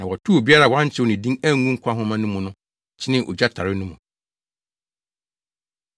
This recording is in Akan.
Na wɔtow obiara a wɔankyerɛw ne din angu nkwa nhoma no mu no kyenee ogya tare no mu.